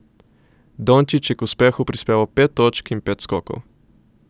Dončić je k uspehu prispeval pet točk in pet skokov.